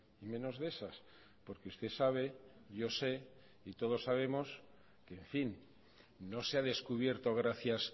y menos de esas porque usted sabe yo sé y todos sabemos que en fin no se ha descubierto gracias